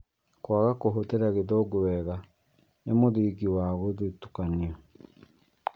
Kwaga kũhũthira Githũngũ wega nĩ mũthingi wa gũthutũkanio